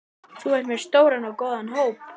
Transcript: Þú ert með stóran og góðan hóp?